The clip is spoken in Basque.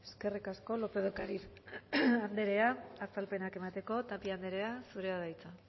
eskerrik asko lópez de ocariz anderea azalpenak emateko tapia anderea zurea da hitza